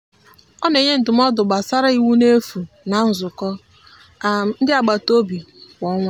ọ na-enye ndụmọdụ gbasara iwu n'efu na nzukọ um ndị agbataobi kwa ọnwa.